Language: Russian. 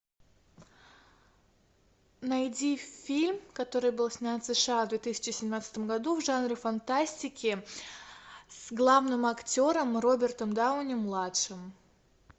найди фильм который был снят в сша в две тысячи семнадцатом году в жанре фантастики с главным актером робертом дауни младшим